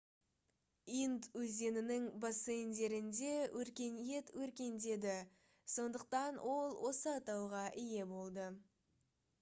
инд өзенінің бассейндерінде өркениет өркендеді сондықтан ол осы атауға ие болды